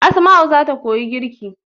Asma'u zata koyi girki